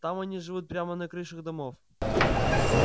там они живут прямо на крышах домов